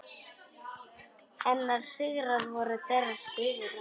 Hennar sigrar voru þeirra sigrar.